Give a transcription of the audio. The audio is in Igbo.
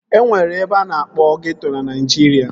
E nwere ebe a na-akpọ ghetto na Naịjirịa